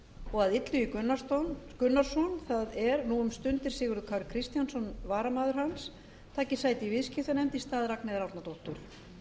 og að illugi gunnarsson það er nú um stundir sigurður kári kristjánsson varamaður hans taki sæti í viðskiptanefnd í stað ragnheiðar árnadóttur